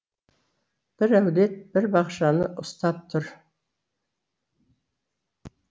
бір әулет бір бақшаны ұстап тұр